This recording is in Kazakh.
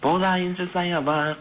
болайыншы саябақ